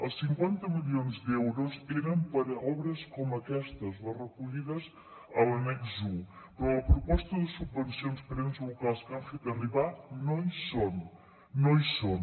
els cinquanta milions d’euros eren per a obres com aquestes les recollides a l’annex un però a la proposta de subvencions per a ens locals que han fet arribar no hi són no hi són